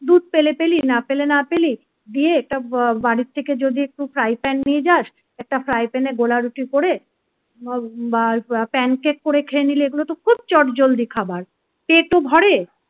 দুধ পেলে পেলি না পেলে না পেলি দিয়ে একটা বাড়ি থেকে যদি একটু fry pan নিয়ে যাস একটা recipe গোলা রুটি করে বা pancake করে খেয়ে নিলে এগুলো তো খুব চটজলদি খাবার পেট ও ভরে